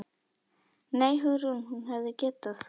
Nei, Hugrún, hún hefði getað.